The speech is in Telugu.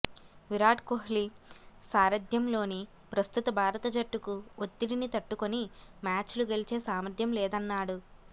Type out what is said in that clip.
విరాట్ కోహ్లి సారథ్యంలోని ప్రస్తుత భారత జట్టుకు ఒత్తి డిని తట్టుకొని మ్యాచ్లు గెలిచే సామర్థ్యం లేద న్నాడు